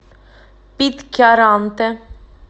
питкяранте